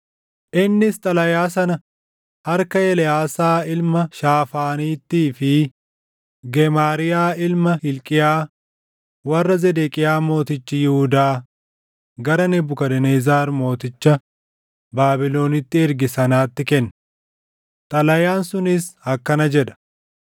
Innis xalayaa sana harka Eleʼaasaa ilma Shaafaaniittii fi Gemaariyaa ilma Hilqiyaa warra Zedeqiyaa mootichi Yihuudaa gara Nebukadnezar mooticha Baabilonitti erge sanaatti kenne. Xalayaan sunis akkana jedha: